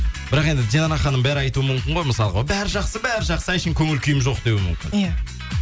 бірақ енді динара ханым бәрі айтуы мүмкін ғой мысалы бәрі жақсы бәрі жақсы әшейін көңіл күйім жоқ деуі мүмкін иә